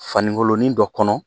Fani nkolonin dɔ kɔnɔ